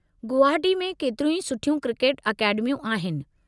गुवहाटी में केतिरियूं ई सुठियूं क्रिकेट अकेडमियूं आहिनि।